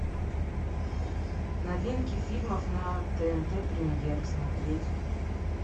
новинки фильмов на тнт премьер смотреть